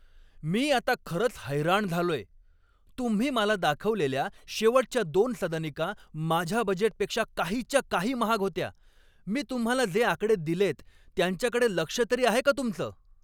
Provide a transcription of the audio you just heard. मी आता खरंच हैराण झालोय. तुम्ही मला दाखवलेल्या शेवटच्या दोन सदनिका माझ्या बजेटपेक्षा काहीच्या काही महाग होत्या. मी तुम्हाला जे आकडे दिलेत, त्यांच्याकडे लक्ष तरी आहे का तुमचं?